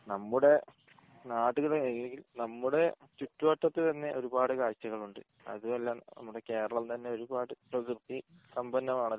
നമ്മുടെ നാട്ടിൽ ഉള്ള നിലയിൽ നമ്മുടെ ചുറ്റുവട്ടത്തു തന്നെ ഒരുപാട് കാഴച്ചകൾ ഉണ്ട് അത് അതെല്ലാം നമ്മുടെ കേരളം തന്നെ ഒരുപാട് പ്രകൃതി സമ്പന്നമാണല്ലോ